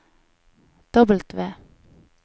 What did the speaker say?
W